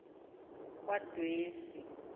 kwadwesi